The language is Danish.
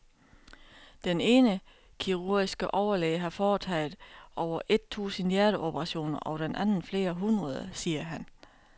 Den ene kirurgiske overlæge har foretaget over et tusind hjerteoperationer og den anden flere hundrede, siger han.